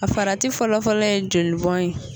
A farati fɔlɔfɔlɔ ye jolibɔn ye.